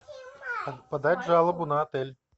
подать жалобу на отель